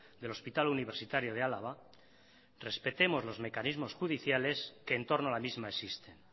del hospital universitario de álava respetemos los mecanismos judiciales que en torno a la misma existen